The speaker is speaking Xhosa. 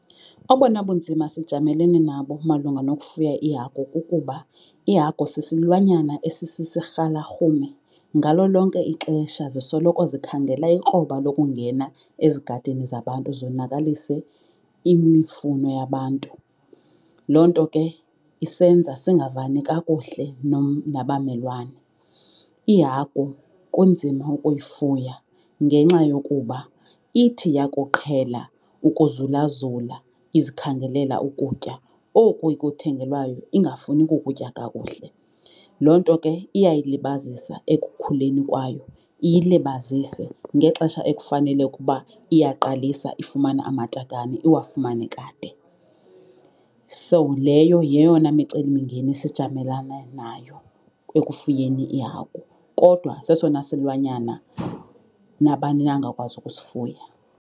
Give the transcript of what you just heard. Obona bunzima sijamelene nabo malunga nokufuya iihagu kukuba ihagu sisilwanyana esisisirhalarhume. Ngalo lonke ixesha zisoloko zikhangela ikroba lokungena ezigadini zabantu zonakalise imifuno yabantu, loo nto ke isenza singavani kakuhle nabamelwane. Ihagu kunzima ukuyifuya ngenxa yokuba ithi yakuqhela ukuzulazula izikhangelela ukutya oku ikuthengelwayo ingafuni kukutya kakuhle. Loo nto ke iyayilibazisa ekukhuleni kwayo, iyilibazise ngexesha ekufanele ukuba iyaqalisa ifumana amatakane iwafumane kade. So leyo yeyona micelimingeni sijamelane nayo ekufuyeni iihagu kodwa sesona silwanyana nabani na angakwazi ukusifuya.